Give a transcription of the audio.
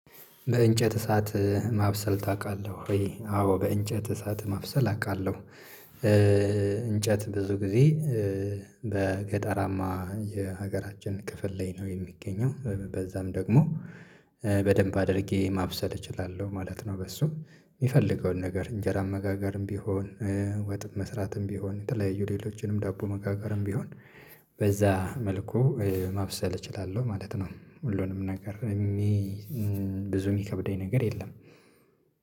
በእንጨት እሳት ማብሰል ታውቃለህ ወይ? አዎ በእንጨት እሳት ማብሰል አውቃለሁ። እንጨት ብዙ ጊዜ በገጠራማ የሀገራችን ክፍል ላይ ነው የሚገኘው። በዛም ደግሞ በደንብ አድርጌ ማብሰል እችላለሁ ማለት ነው። በሱ የፈለገውን ነገር እንጀራ መጋገርም ቢሆን ወጥም መስራትም ቢሆን የተለያዩ ሌሎችንም ዳቦ መጋገርም ቢሆን በዛ መልኩ ማብሰል እችላለሁ ማለት ነው። ሁሉንም ነገር እሚ ብዙ የሚከብደኝ ነገር የለም።